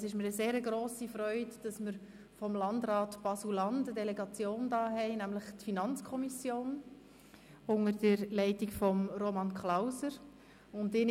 Es ist mir eine sehr grosse Freude, eine Delegation des Landrats Baselland, nämlich die Finanzkommission unter der Leitung von Roman Klauser begrüssen zu dürfen.